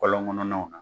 Kɔlɔn kɔnɔnaw kan